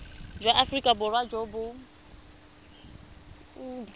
jwa aforika borwa jo bo